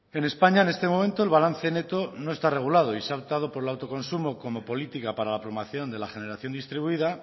en españa en este momento el balance neto no está regulado y se ha optado por el autoconsumo como política para la promoción de la generación distribuida